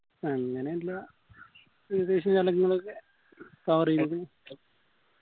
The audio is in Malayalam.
അങ്ങനെയുള്ള ഏകദേശ സ്ഥലങ്ങളൊക്കെ cover എയ്തു